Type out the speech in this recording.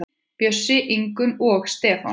Bjössi, Ingunn og Stefán.